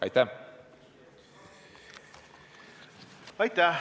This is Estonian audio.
Aitäh!